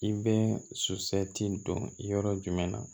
I bɛ su ti don yɔrɔ jumɛn na